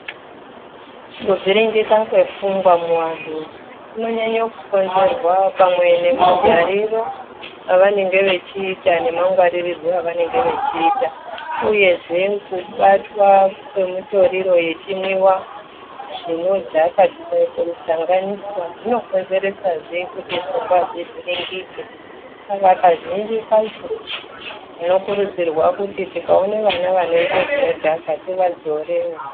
Kuvhiringika kwepfungwa muanhu kunonyanye kukonzerwa pamwe nemagariro avanenge vechiita nemangwarirwo evanenge vechiita uyezve kubatwa kwemitoririro yechimwiwa zvinodhaka zvikaite musanganiswa zvinokonzerazve kuti pfungwa dzivhiringike saka kazhinji kacho tinokurudzirwe kuti tikaone vana vanoita zvinodhaka tivadzorewo.